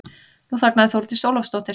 Nú þagnaði Þórdís Ólafsdóttir.